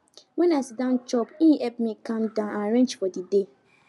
when i siddon chop e help me calm down and arrange for the day